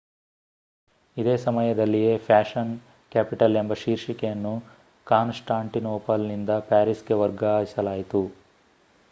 ಇದೇ ಸಮಯದಲ್ಲಿಯೇ fashion capital ಎಂಬ ಶೀರ್ಷಿಕೆಯನ್ನು ಕಾನ್‌ಸ್ಟಾಂಟಿನೋಪಲ್‌ನಿಂದ ಪ್ಯಾರಿಸ್‌ಗೆ ವರ್ಗಾಯಿಸಲಾಯಿತು